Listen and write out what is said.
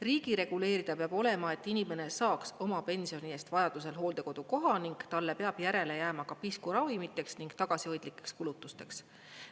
Riigi reguleerida peab olema, et inimene saaks oma pensioni eest vajadusel hooldekodukoha ning talle peab järele jääma ka pisku ravimiteks ning tagasihoidlikeks kulutusteks.